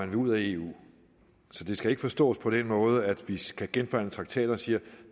vil ud af eu så det skal ikke forstås på den måde at vi skal genforhandle traktaterne og sige